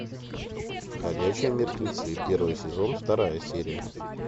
ходячие мертвецы первый сезон вторая серия